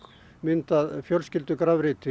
myndað